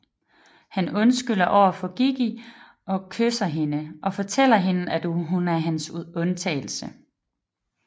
Han undskylder over for Gigi og kysser hende og fortæller hende at hun er hans undtagelse